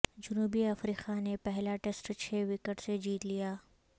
جنوبی افریقہ نے پہلا ٹیسٹ چھ وکٹ سے جیت لیا